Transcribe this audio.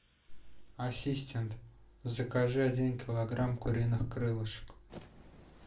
ассистент закажи один килограмм куриных крылышек